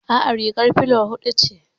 Aa, rigar filo hudu ce